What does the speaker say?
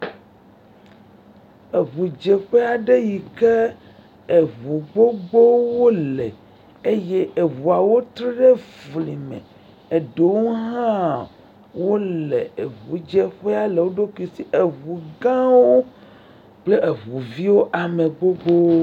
Eʋu dzeƒe aɖe sike eʋu gbogbowo wole, eɖewo hã le eʋudzefe le woɖokuiwo... Eʋu gãwo kple eʋuviwo, ame vovovo..,..